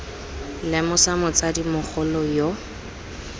v lemosa motsadi mogolo yo